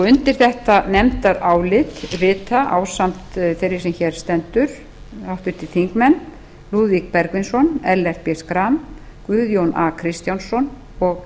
undir þetta nefndarálit rita ásamt þeirri sem hér stendur háttvirtir þingmenn lúðvík bergvinsson ellert b schram guðjón kristjánsson og